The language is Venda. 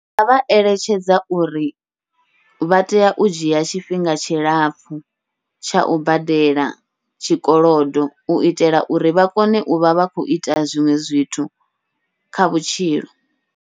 Ngavha eletshedza uri vha tea u dzhia tshifhinga tshilapfhu tsha u badela tshikolodo, uitela uri vha kone uvha vha khou ita zwiṅwe zwithu kha vhutshilo.